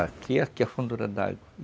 Aqui, aqui é a fundura d'água.